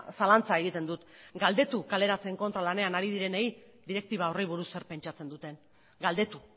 zalantza egiten dut galdetu kaleratzeen kontra lanean hari direnei direktiba horri buruz zer pentsatzen duten galdetu